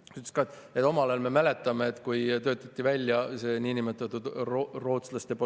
Tema ütles ka, et omal ajal, me mäletame, kui töötati välja see niinimetatud rootslaste